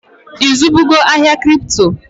I zụbugo ahịa Kripto?